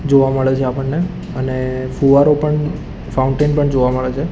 જોવા મળે છે આપણને અને ફુવારો પણ ફાઉન્ટેન પણ જોવા મળે છે.